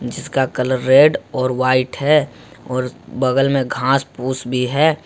जिसका colour red और white है और बगल में घास फूस भी है।